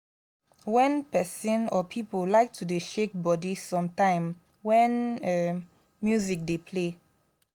wen person or pipo like to dey shake body sometime when music dey play